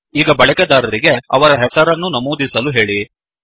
ಈಗ ಬಳಕೆದಾರರಿಗೆ ಅವರ ಹೆಸರನ್ನು ನಮೂದಿಸಲು ಹೇಳಿ